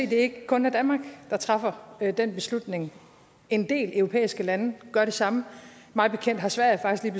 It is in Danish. det ikke kun er danmark der træffer den beslutning en del europæiske lande gør det samme mig bekendt har sverige faktisk